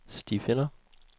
stifinder